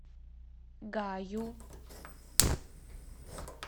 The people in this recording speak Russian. гаю